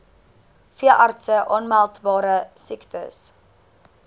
veeartse aanmeldbare siektes